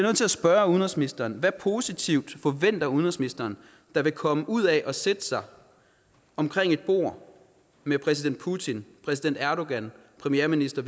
at spørge udenrigsministeren hvad positivt forventer udenrigsministeren der vil komme ud af at sætte sig omkring et bord med præsident putin præsident erdogan og premierminister